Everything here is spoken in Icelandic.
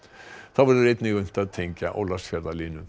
þá verður einnig unnt að tengja